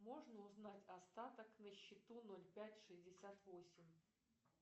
можно узнать остаток на счету ноль пять шестьдесят восемь